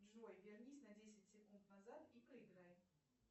джой вернись на десять секунд назад и проиграй